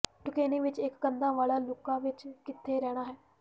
ਟੁਕੇਨੀ ਵਿਚ ਇਕ ਕੰਧਾਂ ਵਾਲਾ ਲੂਕਾ ਵਿਚ ਕਿੱਥੇ ਰਹਿਣਾ ਹੈ